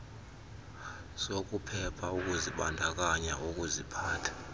zokuphepha ukuzibandakanya kukuziphatha